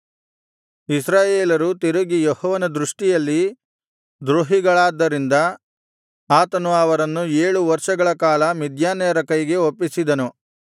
ಇಸ್ರಾಯೇಲರು ತಿರುಗಿ ಯೆಹೋವನ ದೃಷ್ಟಿಯಲ್ಲಿ ದ್ರೋಹಿಗಳಾದ್ದರಿಂದ ಆತನು ಅವರನ್ನು ಏಳು ವರ್ಷಗಳ ಕಾಲ ಮಿದ್ಯಾನ್ಯರ ಕೈಗೆ ಒಪ್ಪಿಸಿದನು